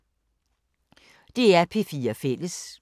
DR P4 Fælles